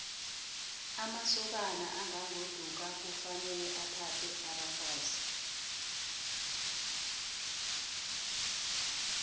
amasokana angagoduka kufanele athathe abafazi